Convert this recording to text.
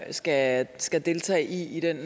skal skal deltage i i den